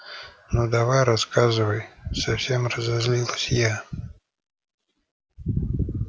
ну давай рассказывай совсем разозлилась я